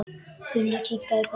Gunnar kinkaði kolli.